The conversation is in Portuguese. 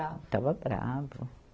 Estava bravo.